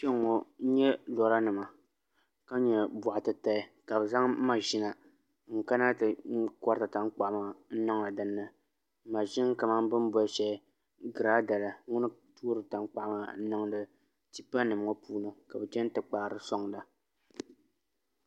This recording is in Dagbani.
Kpɛ ŋo n nyɛ lora nima ka nyɛ boɣa titali ka bi zaŋ maʒina n kana ti koriti tankpaɣu maa n niŋdi dinni maʒini kamani bin boli shɛli girada la ŋuni n toori tankpaɣu maa n niŋdi tipa nim ŋo puuni ka bi chɛni ti kpaari soŋda